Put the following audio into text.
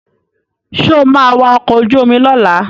Sọ ma wa ọkọ̀ ojú omi lọ́la?